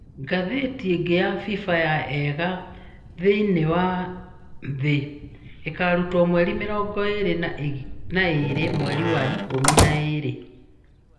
Ngathĩti ĩngĩ ya Fifa ya ega thĩ-inĩ wa thĩ ĩkarutwo mweri mĩrongo ĩrĩ na ĩgĩrĩ mweri wa ikũmi na ĩrĩ.